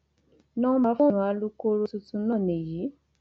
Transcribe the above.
nọńbà fóònù alūkkoro tuntun náà ní yi